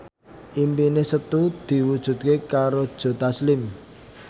impine Setu diwujudke karo Joe Taslim